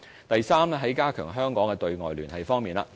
第三，是加強香港的對外聯繫方面。